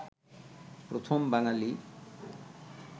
প্রথম বাঙালি